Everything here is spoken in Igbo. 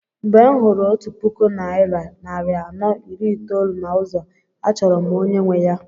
Mgbe m hụrụ otu puku naira narị anọ iri itoolu na ụzọ a chọrọ m onye nwe ya.